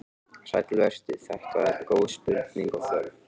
Sæll vertu, þetta eru góð spurning og þörf.